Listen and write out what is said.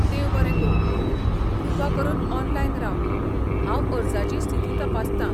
देव बरें करूं, कृपा करून ऑनलायन राव, हांव अर्जाची स्थिती तपासतां.